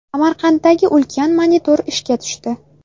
Samarqanddagi ulkan monitor ishga tushdi.